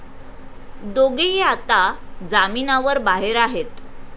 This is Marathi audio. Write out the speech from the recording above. दोघेही आता जामीनावर बाहेर आहेत.